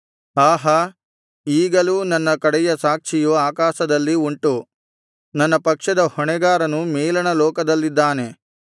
ಆಹಾ ಈಗಲೂ ನನ್ನ ಕಡೆಯ ಸಾಕ್ಷಿಯು ಆಕಾಶದಲ್ಲಿ ಉಂಟು ನನ್ನ ಪಕ್ಷದ ಹೊಣೆಗಾರನು ಮೇಲಣ ಲೋಕದಲ್ಲಿದ್ದಾನೆ